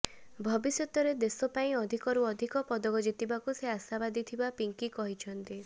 ଭବିଷ୍ୟତରେ ଦେଶ ପାଇଁ ଅଧିକରୁ ଅଧିକ ପଦକ ଜିତିବାକୁ ସେ ଆଶାବାଦୀ ଥିବା ପିଙ୍କି କହିଛନ୍ତି